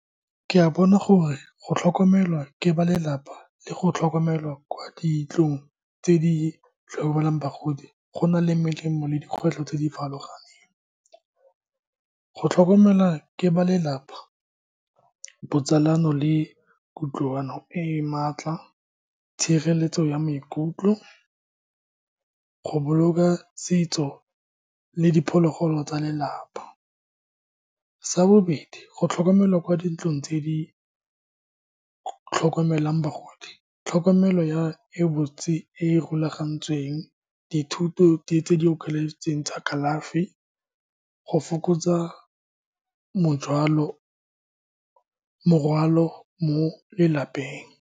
Ke a bona gore go tlhokomelwa ke ba lelapa le go tlhokomelwa kwa dintlong tse di tlhokomelang bagodi, gona le melemo le dikgwetlho tse di farologaneng. Go tlhokomelwa ke ba lelapa, botsalano le kutlwano e e maatla, tshireletso ya maikutlo, go boloka setso le diphologolo tsa lelapa. Sa bobedi, go tlhokomelwa kwa dintlong tse di tlhokomelang bagodi, tlhokomelo ya e botse e e rulagantsweng, di thuto tse di okeleditsweng tsa kalafi, go fokotsa morwalo mo lelapeng.